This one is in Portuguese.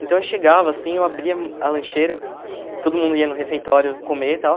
Então eu chegava assim, eu abria a lancheira, todo mundo ia no refeitório comer e tal.